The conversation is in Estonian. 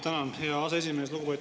Tänan, hea aseesimees!